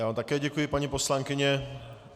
Já vám také děkuji, paní poslankyně.